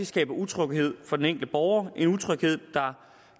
skaber utryghed for den enkelte borger og det en utryghed der